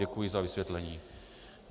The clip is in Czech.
Děkuji za vysvětlení.